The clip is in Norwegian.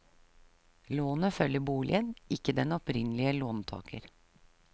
Lånet følger boligen, ikke den opprinnelige låntager.